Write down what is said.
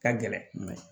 Ka gɛlɛn